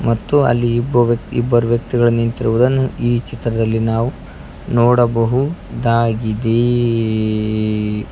ಮತ್ತು ಅಲ್ಲಿ ಇಬ್ಬ ವ್ಯಕ್ತಿ ಇಬ್ಬರು ವ್ಯಕ್ತಿಗಳು ನಿಂತಿರುವುದನ್ನು ಈ ಚಿತ್ರದಲ್ಲಿ ನಾವು ನೋಡಬಹುದಾಗಿದೇ.